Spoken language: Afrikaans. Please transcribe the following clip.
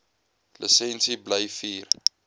lisensie bly vier